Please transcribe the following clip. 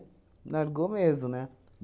Largou mesmo, né?